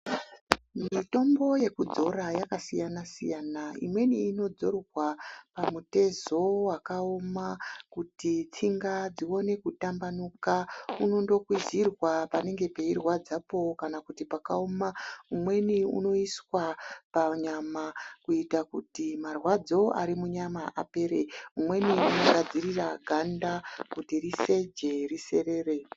Mitombo yekudhaya yakasiyana siyana imweni inoitwa yekuzorwa pamutezo wakaoma kuti tsinga dziwane kutambanuka unondo kwizirwa panenge peyirwadzapo kana pakaoma umweni unoiswa panyama kuitira kuti marwadzo arimunyama apere emweni unogadzirisa ganda kuti riseje riserere.